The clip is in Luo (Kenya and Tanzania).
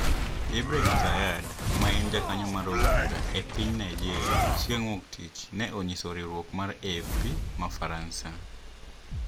Ibrahim Zayyad, ma en jakanyo mar od bura e piny Nigeria, Chieng` Wuok Tich ne onyiso riwruok mar AFP ma Faransa